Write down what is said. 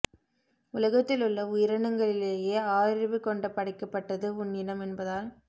உலகத்திலுள்ள உயிரினங்களிலேயே ஆறறிவு கொண்டு படைக்கப்பட்டது உன் இனம் என்பதால்